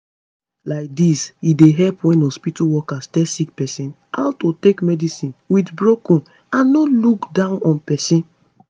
laidis e dey help wen hospitol workers tell sick pesin how to take medicine with broken and no look down on pesin